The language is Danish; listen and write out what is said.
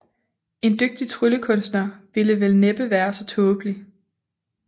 En dygtig tryllekunstner ville vel næppe være så tåbelig